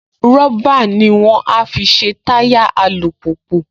Rọ́bà ní wọ́n á fi ṣe táyà alùpùpù